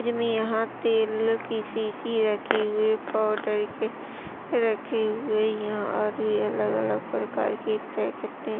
मुझमें यहाँ तेल की शीशी रखी हुई पाउडर के रखी हुई यह और भी अलग अलग प्रकार के पैकेट है।